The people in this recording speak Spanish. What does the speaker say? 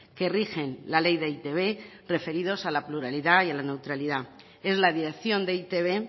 que rigen la ley de e i te be referidos a la pluralidad y la neutralidad es la dirección de e i te be